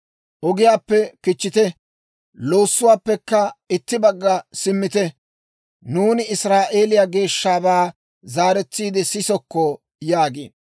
Ogiyaappe kichchite; loossuwaappekka itti bagga simmite; nuuni Israa'eeliyaa Geeshshabaa zaaretsiide sisokko» yaagiino.